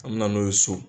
An me na n'o ye so